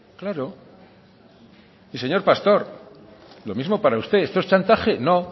claro y señor pastor lo mismo para usted esto es chantaje no